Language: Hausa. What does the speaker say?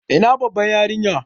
Ina Baban yarinyar?